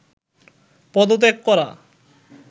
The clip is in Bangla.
পদত্যাগ করা